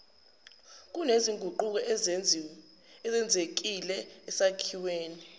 kunezinguquko ezenzekile esakhiweni